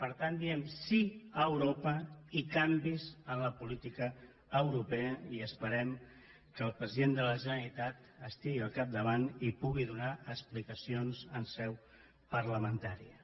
per tant diem sí a europa i canvis en la política europea i esperem que el president de la generalitat hi estigui al capdavant i en pugui donar explicacions en seu parlamentària